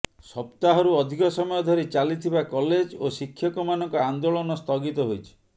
ସପ୍ତାହରୁ ଅଧିକ ସମୟ ଧରି ଚାଲିଥିବା କଲେଜ ଓ ଶିକ୍ଷକମାନଙ୍କ ଆନ୍ଦୋଳନ ସ୍ଥଗିତ ହୋଇଛି